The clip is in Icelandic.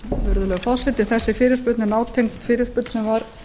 virðulegi forseti þessi fyrirspurn er nátengd fyrirspurn sem var